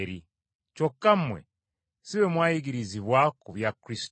Kyokka mmwe si bwe mwayigirizibwa ku bya Kristo.